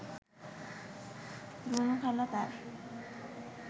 রুনুখালা তাঁর